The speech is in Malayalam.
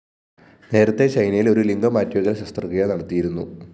നേരത്തെ ചൈനയില്‍ ഒരു ലിംഗം മാറ്റിവയ്ക്കല്‍ ശസ്ത്രക്രിയ നടത്തിയിരുന്നു